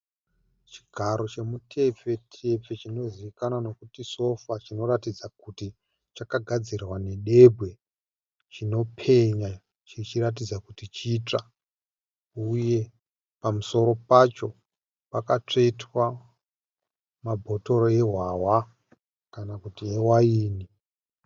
Chigaro chemu tepfe-tepfe chinozivikanwa nekuti sofa. Chinoratidza kuti chakagadzirwa nedebwe. Chinopenya chichiratidza kuti chitsva, uye pamusoro pacho pakatsvetwa mabhotoro e hwahwa kana kuti e waini.